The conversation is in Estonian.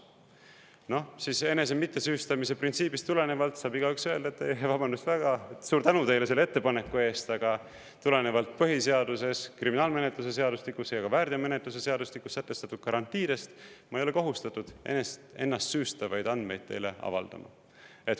Noh, siis enese mittesüüstamise printsiibist tulenevalt saab igaüks öelda, et vabandust väga, suur tänu teile selle ettepaneku eest, aga tulenevalt põhiseaduses, kriminaalmenetluse seadustikus ja väärteomenetluse seadustikus sätestatud garantiidest ma ei ole kohustatud ennast süüstavaid andmeid teile avaldama.